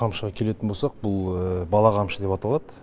қамшыға келетін болсақ бұл бала қамшы деп аталады